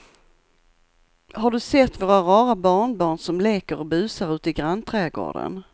Har du sett våra rara barnbarn som leker och busar ute i grannträdgården!